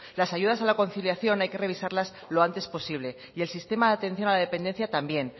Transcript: las ayudas a la conciliación hay que revisarlas lo antes posible y el sistema de atención a la dependencia también